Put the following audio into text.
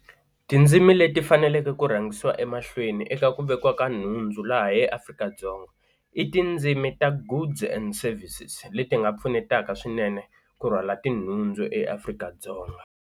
Tindzimi leti faneleke ku rhangisiwa emahlweni eka ku vekiwa ka nhundzu laha eAfrika-Dzonga, i tindzimi ta goods and services leti nga pfunetaka swinene ku rhwala tinhundzu eAfrika-Dzonga.